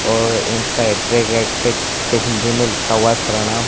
और इनका हिंदी में लिखा हुआ है प्रणाम।